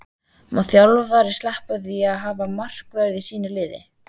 Má þjálfari sleppa því að hafa markvörð í sínu liði?